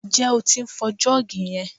Ǹjẹ́ o tí ń fọ jọ́ọ̀gì yẹn?